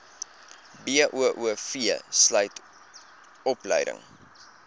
boov sluit opleiding